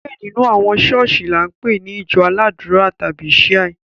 Diẹ nínú àwọn ṣọ̀ọ́sì ni a npe ni ìjọ aládùra tàbi Shia.